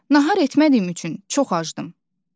Nahar etmədiyim üçün çox acdım.